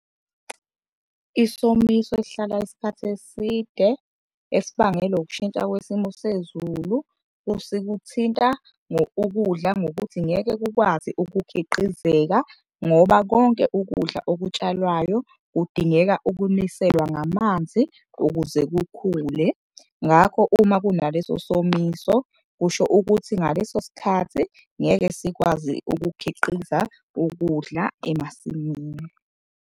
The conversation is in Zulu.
Isomiso esihlala isikhathi eside esibangelwa ukushintsha kwesimo sezulu sikuthinta ukudla ngokuthi ngeke kukwazi ukukhiqizeka ngoba konke ukudla okutshalwayo kudingeka ukuniselwa ngamanzi ukuze kukhule. Ngakho, uma kunaleso somiso kusho ukuthi ngaleso sikhathi ngeke sikwazi ukukhiqiza ukudla emasimini.